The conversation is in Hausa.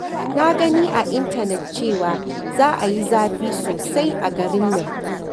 Na gani a intanet cewa za a yi zafi sosai a garin nan